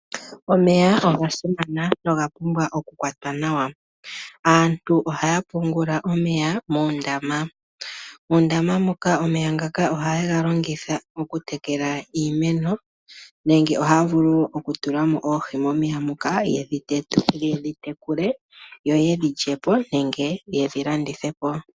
Omeya ogasimana no ogapumbwa okukwatwa nawa. Aantu ohaya pungula omeya moondama. Moondama moka omenya ngaka ohaye ga longitha okutekela iimeno nenge ohaya vulu okutulamo oohi momeya moka yedhi tekule ,yedhi lyepo nenge yedhilandithepo.